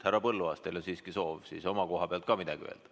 Härra Põlluaas, teil on siiski soov oma koha pealt ka midagi öelda.